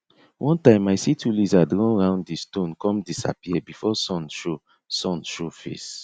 one time i see two lizard run round di stone come disappear before sun show sun show face